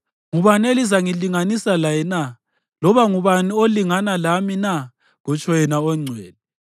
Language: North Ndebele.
“Ngubani elizangilinganisa laye na? Loba ngubani olingana lami na?” kutsho yena oNgcwele.